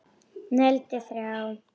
Negldi þrjá!!!